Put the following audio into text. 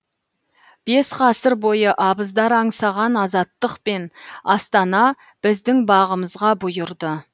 бес ғасыр бойы абыздар аңсаған азаттық пен астана біздің бағымызға бұйырды